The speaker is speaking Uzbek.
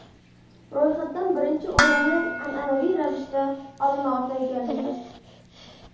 Ro‘yxatda birinchi o‘rinni, an’anaviy ravishda, Olma-Ota egallagan.